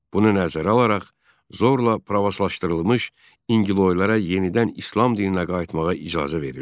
Bunu nəzərə alaraq zorla pravoslavlaşdırılmış İnqiloylara yenidən İslam dininə qayıtmağa icazə verildi.